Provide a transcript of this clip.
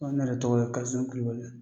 N ko ne yɛrɛ tɔgɔ ye Kasim Kulibali.